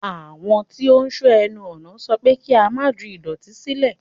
Àwọn tí ó ń sọ́ ẹnu ọ̀nà sọ pé kí á má ju ìdọ̀tí sílẹ̀.